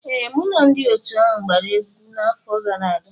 Ee, mụ na ndị otu ahụ gbara egwu n'afọ gara aga.